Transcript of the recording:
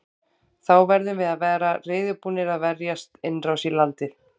Þá verðum við að vera reiðubúnir að verjast innrás í landið.